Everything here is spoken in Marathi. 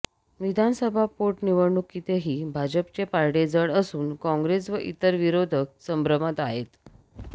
विधानसभा पोटनिवडणुकीतही भाजपचे पारडे जड असून काँग्रेस व इतर विरोधक संभ्रमात आहेत